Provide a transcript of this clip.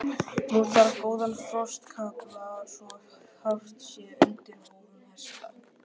Nú þarf góðan frostakafla svo hart sé undir hófum hesta.